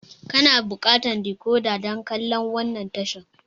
Kana buƙatar decoder dan kallan wannan tashar.